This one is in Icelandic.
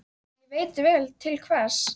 Og ég veit vel til hvers.